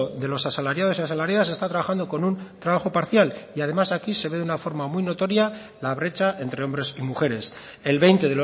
de los asalariados y asalariadas está trabajando con un trabajo parcial y además aquí se ve de una forma muy notoria la brecha entre hombres y mujeres el veinte